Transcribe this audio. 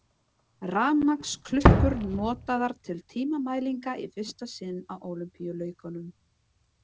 Rafmagnsklukkur notaðar til tímamælinga í fyrsta sinn á Ólympíuleikum.